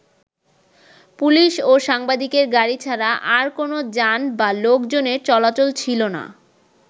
Police ও সাংবাদিকের গাড়ি ছাড়া আর কোন যান বা লোকজনের চলাচল ছিল না।